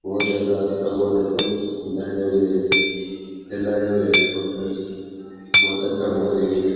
फैलाए हुए है पंख बहुत अच्छा मोर है ये।